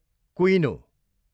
कुइनो